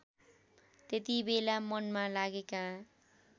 त्यतिबेला मनमा लागेका